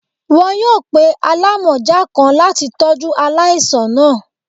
Wọn yoo pe alamọja kan lati tọju alaisan naa.